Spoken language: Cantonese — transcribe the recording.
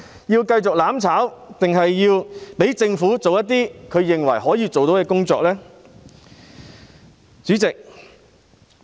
要繼續"攬炒"，還是讓政府做些他們認為可以做到的工作呢？